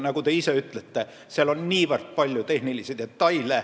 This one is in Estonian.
Nagu te ise ütlesite, seal on niivõrd palju tehnilisi detaile.